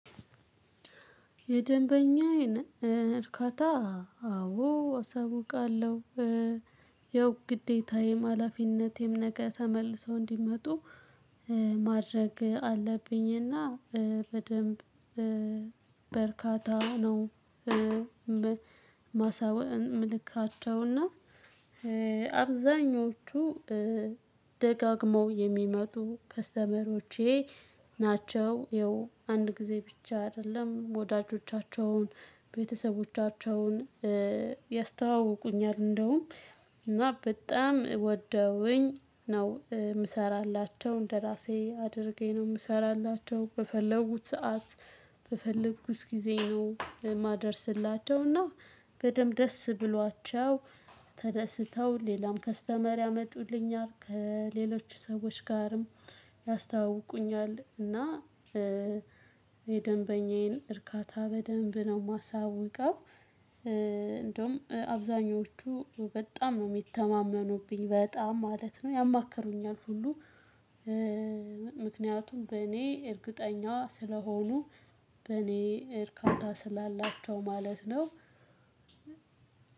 የደንበኛዬን እርካታ አዎ አሳውቃለሁ። ያው ግዴታየም ሀላፊነቴም ነገ ተመልሰው እንዲመጡ ማድረግ አለብኝና በደንብ በርካታ ነው ማሳወ ምልካቸውና አብዛኞቹ ደጋግመው የሚመጡ ከስተመሮቼ ናቸው ይኸው አንድ ጊዜ ብቻ አይደለም ወዳጆቻቸውን ቤተሰቦቻቸውን ያስተዋውቁኛል እንደውም እና በጣም ወደውኝ ነው የምሰራላቸው። እንደራሴ አድርጌ ነው የምሰራላቸው በፈለጉት ሰዓት፣ በፈለጉት ጊዜ ነው የማደርስላቸው እና በደንብ ደስ ብሏቸው ተደስተው ሌላም ከስተመር ያመጡልኛል ከሌሎች ሰዎች ጋርም ያስታውቁኛል እና የደንበኛዬን እርካታ በደንብ ነው የማሳውቀው። እንደውም አብዛኞቹ በጣም ነው የሚተማመኑብኝ በጣም ማለት ነው። ያማከሩኛል ሁሉ ምክንያቱም በእኔ እርግጠኛ ስለሆኑ በእኔ እርካታ ስላላቸው ማለት ነው።